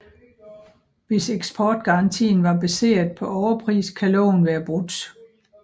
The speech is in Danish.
Hvis eksportgarantien var baseret på overpris kan loven være brudt